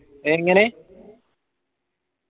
എങ്ങനെ?